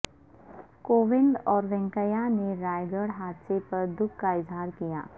کووند اور وینکیا نے رائے گڑھ حادثے پر دکھ کا اظہار کیا